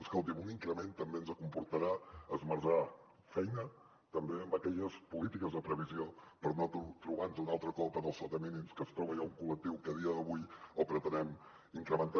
escolti’m un increment també ens comportarà esmerçar feina també en aquelles polítiques de previsió per no trobar nos altre cop en el sota mínims que es troba ja un col·lectiu que a dia d’avui el pretenem incrementar